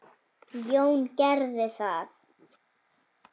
Jón gerði það.